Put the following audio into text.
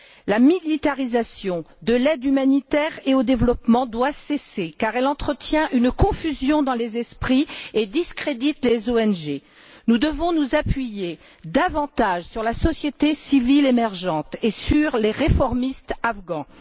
La militarisation de l'aide humanitaire et de l'aide au développement doit cesser car elle entretient une confusion dans les esprits et discrédite les ONG. Nous devons nous appuyer davantage sur la société civile émergente et sur les réformistes afghans.